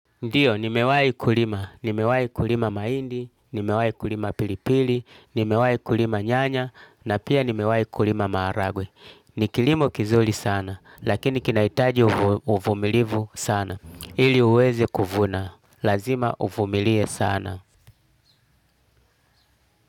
Ndiyo, nimewai kulima. Nimewai kulima maindi, nimewai kulima pilipili, nimewai kulima nyanya, na pia nimewai kulima maharagwe. Ni kilimo kizuli sana, lakini kinaitaji uvumilivu sana. Ili uweze kuvuna. Lazima uvumilie sana.